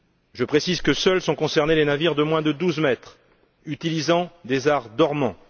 Je précise que seuls sont concernés les navires de moins de 12 mètres utilisant des arts dormants.